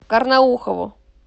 карнаухову